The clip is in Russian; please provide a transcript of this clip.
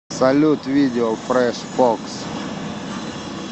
салют видео фреш фокс